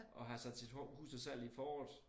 Og har sat sit hus til salg i foråret